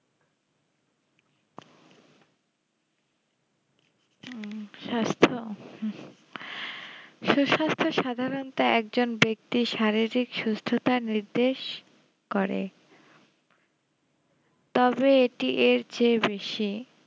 হুম স্বাস্থ উম সে সব তো সাধারণত একজন বেক্তি শারীরিক সুস্থতার নির্দেশ করে তবে এটি এর চেয়ে বেশি